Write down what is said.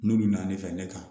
N'olu nana ne fɛ ne kan